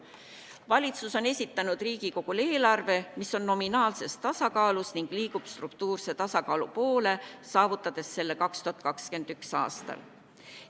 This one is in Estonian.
Valitsus on esitanud Riigikogule eelarve, mis on nominaalses tasakaalus ning liigub struktuurse tasakaalu poole, saavutades selle 2021. aastal.